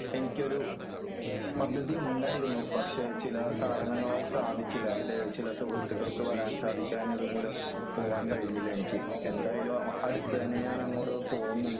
എനിക്ക് ഒരു പദ്ധതി ഉണ്ടായിരുന്നു. പക്ഷേ ചില കാരണങ്ങളാൽ സാധിച്ചില്ല . എന്റെ ചില സുഹൃത്തുക്കൾക്ക് വരാൻ സാധിക്കാഞ്ഞത് മൂലം പോവാൻ കഴിഞ്ഞില്ല എനിക്ക്എ. ന്തായാലും അടുത്ത് തന്നെ ഞാൻ അങ്ങോട്ട് പോകുന്നുണ്ട് .